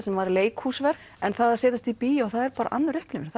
sem var leikhúsverk en það að setjast í bíó er önnur upplifun þá